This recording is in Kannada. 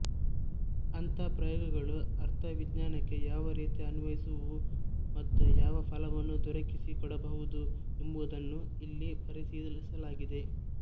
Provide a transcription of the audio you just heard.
ಅಂಥ ಪ್ರಯೋಗಗಳು ಅರ್ಥವಿಜ್ಞಾನಕ್ಕೆ ಯಾವ ರೀತಿ ಅನ್ವಯಿಸುವುವು ಮತ್ತು ಯಾವ ಫಲವನ್ನು ದೊರಕಿಸಿ ಕೊಡಬಹುದು ಎಂಬುದನ್ನು ಇಲ್ಲಿ ಪರಿಶೀಲಿಸಲಾಗಿದೆ